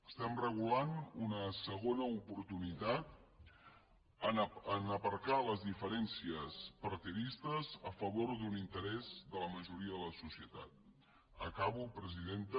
estem regulant una segona oportunitat en aparcar les diferències partidistes a favor d’un interès de la majoria de la societat acabo presidenta